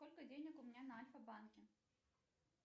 сколько денег у меня на альфа банке